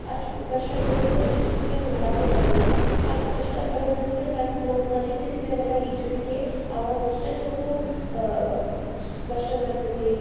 ಅಷ್ಟ ಕಷ್ಟ ನಮ್ಗ ಈಜುವಿಕೆ ಮಾಡಾಕ ಬರಲ್ಲ ಅದ್ ಕಸ್ಟಾ ಬರೋದಂದ್ರೆ ಸಲ್ಪ ನಾವ್ ಕಲಿತಿರ್ತೆವಲ್ಲ ಈಜುವಿಕೆ ಅವಾಗ್ ಅಸ್ಟ ನಮ್ಗ ಅಹ್ ಕಸ್ಟ ಬರ್ತೆೇತಿ.